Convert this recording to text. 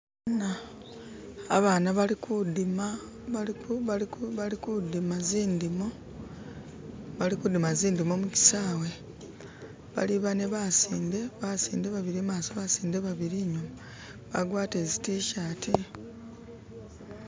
abana balikudima zindimo mukisawe bali bane basinde, basinde babili imaso babili inyuma bagwatile zitishati